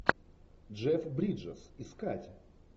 джефф бриджес искать